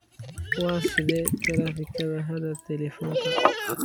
waa sidee taraafikada hadda telifoonka